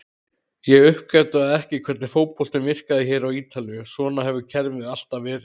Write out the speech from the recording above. Ég uppgötvaði ekki hvernig fótboltinn virkar hér á Ítalíu, svona hefur kerfið alltaf verið.